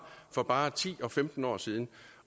for bare ti og femten år siden